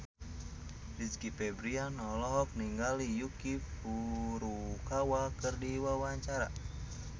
Rizky Febian olohok ningali Yuki Furukawa keur diwawancara